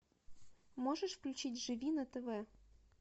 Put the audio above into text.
можешь включить живи на тв